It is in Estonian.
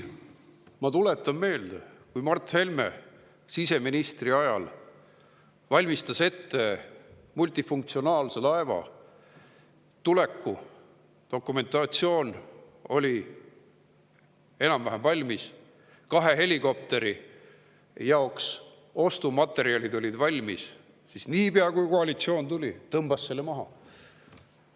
Ma tuletan meelde, et Mart Helme valmistas siseminister olles ette multifunktsionaalse laeva tuleku, dokumentatsioon oli enam-vähem valmis, ka kahe helikopteri ostu jaoks olid materjalid valmis, aga niipea, kui koalitsioon tuli, tõmmati see maha.